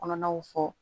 Kɔnɔnaw fɔ